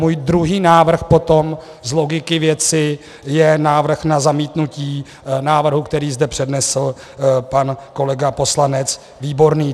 Můj druhý návrh potom z logiky věci je návrh na zamítnutí návrhu, který zde přednesl pan kolega poslanec Výborný.